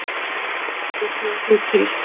Ég bjó þig til.